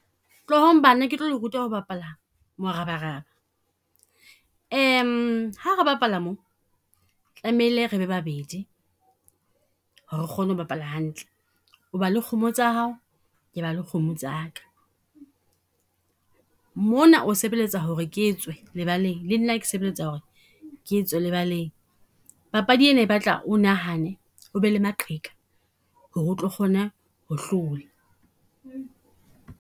Tlohong bana ke tlo le ruta ho bapala morabaraba. Ha re bapala mo, tlamehile re be babedi ho re re kgone ho bapala hantle. O ba le kgomo tsa hao, ke ba le kgomo tsa ka. Mona o sebeletsa ho re ketswe lebaleng, le nna ke sebeletsa ho re ke tswe lebaleng. Papadi ena e batla o nahane, o be le maqheka ho re o tlo kgone ho hlola.